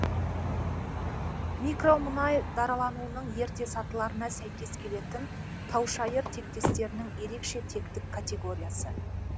микромұнай даралануының ерте сатыларына сәйкес келетін таушайыр тектестерінің ерекше тектік категориясы